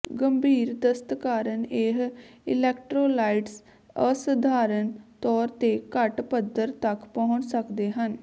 ਗੰਭੀਰ ਦਸਤ ਕਾਰਨ ਇਹ ਇਲੈਕਟ੍ਰੋਲਾਈਟਸ ਅਸਧਾਰਨ ਤੌਰ ਤੇ ਘੱਟ ਪੱਧਰ ਤੱਕ ਪਹੁੰਚ ਸਕਦੇ ਹਨ